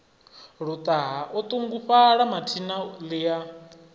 luṱaha o ṱungufhala mathina ḽia